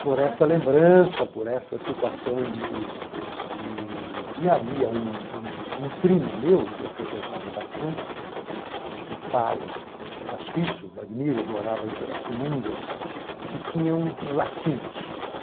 Por essa lembrança, por essa situação de de... E havia um um um primo meu, que eu frequentava bastante, que o pai era suíço, morava em Pirassununga, que tinha um laticínios.